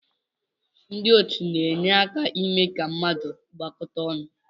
Ndị otu na-enye aka ime ka ndị mmadụ gbakọta ọnụ.